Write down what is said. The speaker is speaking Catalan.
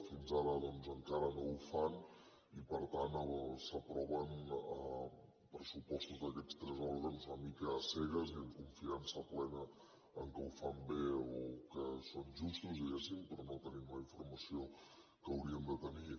fins ara encara no ho fan i per tant s’aproven pressupostos d’aquests tres òrgans una mica a cegues amb confiança plena que ho fan bé o que són justos diguem ne però no tenim la informació que hauríem de tenir